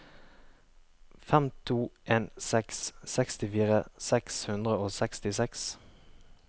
fem to en seks sekstifire seks hundre og sekstiseks